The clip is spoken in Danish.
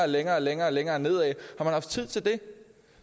længere længere og længere ned